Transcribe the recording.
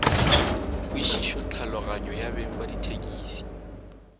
kwešišotlhaloganyo ya beng ba dithekisi